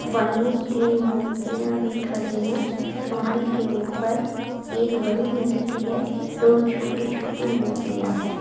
वहीं तीन मूर्तियां भी खड़ी हैं कमल के ऊपर एक बड़ी मूर्ति है दो छोटी छोटी मूर्तियां हैं।